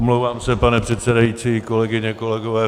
Omlouvám se, pane předsedající, kolegyně, kolegové.